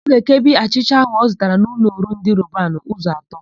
Ọ ga-ekebi achịcha áhụ̀ ọ zụtara n'ụlọọrụ ndị Robanu ụzọ atọ.